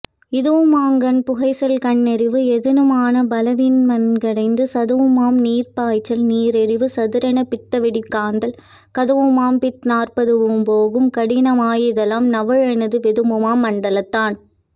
இதுவுமாம்கண் புகைச்சல்கண்ணெறிவு யிதமானகபாலவலிமண்டைக்குத்து சதுவுமாம்நீர்ப்பாய்ச்சல்நீரெறிவு சதுரானபித்தவெடிபித்தக்காந்தல் கதுவுமாம்பித்நாற்பதுவும்போகும் கடினமாம்யித்தயிலம் நவுலொணாது வெதுவுமாம் மண்டலந்தான்